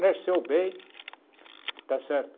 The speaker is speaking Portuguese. nasceu bem, está certo?